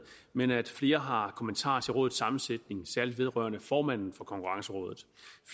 men at flere har kommentarer til rådets sammensætning særlig vedrørende formanden for konkurrencerådet